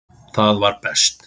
Það var best.